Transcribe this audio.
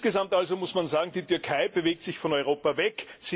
Insgesamt muss man sagen, die Türkei bewegt sich von Europa weg.